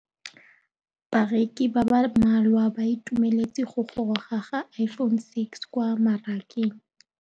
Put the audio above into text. Bareki ba ba malwa ba ituemeletse go gôrôga ga Iphone6 kwa mmarakeng.